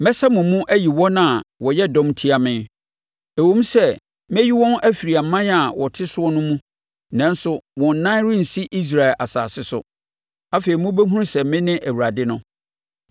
Mɛsa mo mu ayi wɔn a wɔyɛ dɔm tia me. Ɛwom sɛ mɛyi wɔn afiri aman a wɔte soɔ no mu, nanso wɔn nan rensi Israel asase so. Afei mobɛhunu sɛ mene Awurade no.